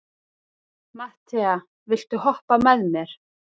Matthea, viltu hoppa með mér?